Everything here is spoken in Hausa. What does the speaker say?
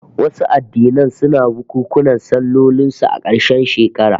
Wasu addinan suna bukunkunan sallolin su a karshen shekara